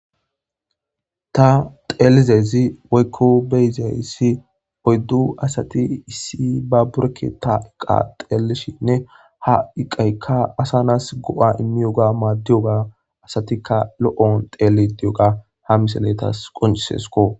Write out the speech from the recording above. Ta xeelizezi woykko beyizayssi oyddu asati issi ba bureke ta iqa xeelishinne ha iqaykka asanas go7a immiyoga maaddiyoga asatika lo7on teelidiyoga ha misaletas qoncisesko.